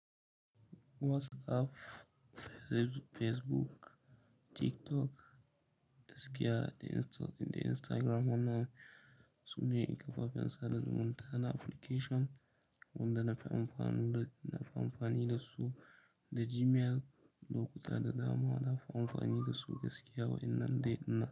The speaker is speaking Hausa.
WhatsApp, Facebook, TikTok gaskiya Instagram wannan sune kafafen sada zumunta na application wanda na fi amfani da su da Gmail lokuta da dama na fi amfani da su gaskiya wa'innan dai ɗin nan.